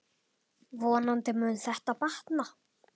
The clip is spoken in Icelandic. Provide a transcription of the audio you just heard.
Vonandi mun þetta batna.